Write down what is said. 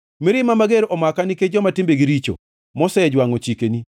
Mirima mager omaka nikech joma timbegi richo, mosejwangʼo chikeni.